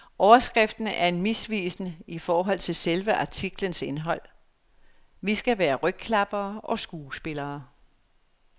Overskriften er misvisende i forhold til selve artiklens indhold. Vi skal være rygklappere og skuespillere.